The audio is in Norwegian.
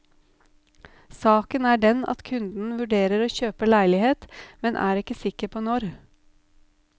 Saken er den at kunden vurderer å kjøpe leilighet, men er ikke sikker på når.